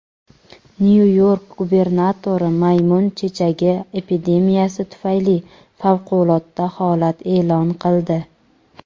Nyu-York gubernatori maymun chechagi epidemiyasi tufayli favqulodda holat e’lon qildi.